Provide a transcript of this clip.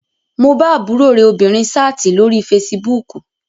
Mo bá àbúrò rẹ obìnrin sáàtì lórí fesibúùkù